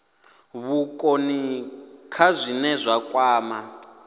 vhukoni kha zwine zwa kwama